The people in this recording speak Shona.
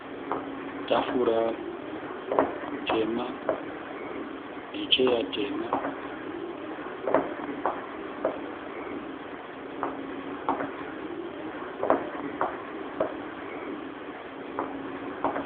Tafura tema necheya tema.